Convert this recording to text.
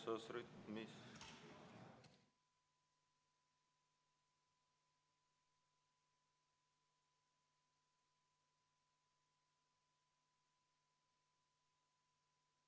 V a h e a e g